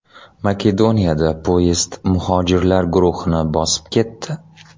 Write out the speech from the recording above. Makedoniyada poyezd muhojirlar guruhini bosib ketdi.